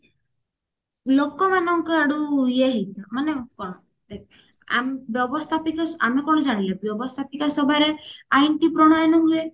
ଲୋକମାନଙ୍କ ୟାଡୁ ଇଏ ହେଇଥାଏ ମାନେ କଣ ଦେଖ ଆ ବ୍ୟବସ୍ତାପିକା ଆମେ କଣ ଜାଣିଲେ ବ୍ୟବସ୍ତାପିକା ସଭାରେ ଆଇନ ଟି ପ୍ରଣୟନ ହୁଏ